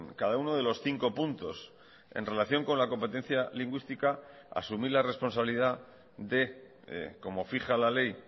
cada uno de los cinco puntos en relación con la competencia lingüística asumir la responsabilidad de como fija la ley